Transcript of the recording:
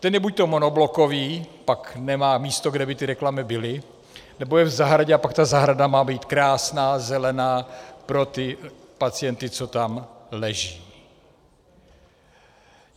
Ten je buďto monoblokový, pak nemá místo, kde by ty reklamy byly, nebo je v zahradě, a pak ta zahrada má být krásná, zelená, pro ty pacienty, co tam leží.